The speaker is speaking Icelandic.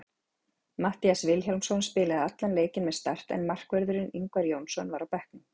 Matthías Vilhjálmsson spilaði allan leikinn með Start en markvörðurinn Ingvar Jónsson var á bekknum.